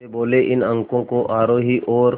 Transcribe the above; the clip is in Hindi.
वे बोले इन अंकों को आरोही और